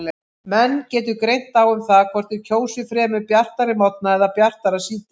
Menn getur greint á um það hvort þeir kjósi fremur bjartari morgna eða bjartara síðdegi.